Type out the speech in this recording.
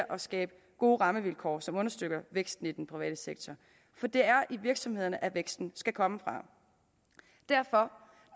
skabe gode rammevilkår som understøtter væksten i den private sektor for det er virksomhederne væksten skal komme fra derfor